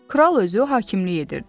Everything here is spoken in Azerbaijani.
Kral özü hakimlik edirdi.